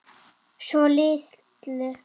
Svo litlu.